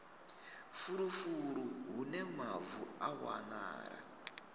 fulufulu hune mavu a wanala